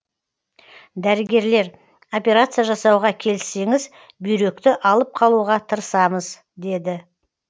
дәрігерлер операция жасауға келіссеңіз бүйректі алып қалуға тырысамыз деді